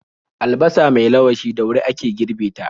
Albasa mai lawashi da wuri ake girbe ta.